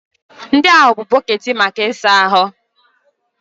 Ndị a bụ bọkeeti maka ịsa ahụ.